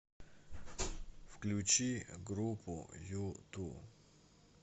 включи группу юту